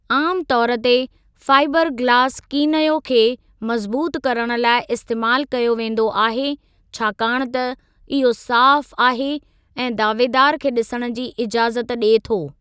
आमु तौर ते, फाइबर गिलास कीनयो खे मज़बूतु करणु लाइ इस्तेमालु कयो वेंदो आहे छाकाणि त इहो साफ़ु आहे ऐं दावेदार खे ॾिसणु जी इजाज़त ॾिए थो।